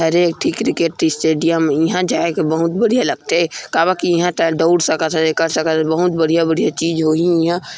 ये हरे ठीकरी के एक ठी स्टेडियम इंहा जाय बर बहुत बढ़िया लागथे काबर के इंहा तैं दउड़ सकत हस ए कर सकत हस बहुत बढ़िया-बढ़िया चीज होही इंहा--